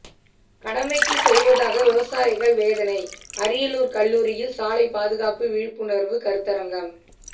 கடமைக்கு செய்வதாக விவசாயிகள் வேதனை அரியலூர் கல்லூரியில் சாலை பாதுகாப்பு விழிப்புணர்வு கருத்தரங்கம்